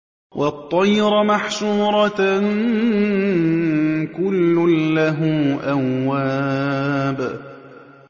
وَالطَّيْرَ مَحْشُورَةً ۖ كُلٌّ لَّهُ أَوَّابٌ